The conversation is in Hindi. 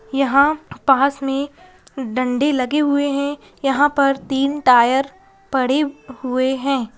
यहां पास में डंडे लगे हुए हैं यहां पर तीन टायर पड़े हुए हैं।